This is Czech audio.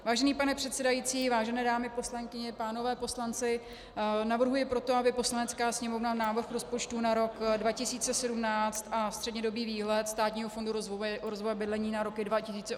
Vážený pane předsedající, vážené dámy poslankyně, pánové poslanci, navrhuji proto, aby Poslanecká sněmovna návrh rozpočtu na rok 2017 a střednědobý výhled Státního fondu rozvoje bydlení na roky 2018 a 2019 schválila.